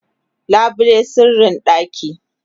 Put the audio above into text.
labule sirrin ɗaki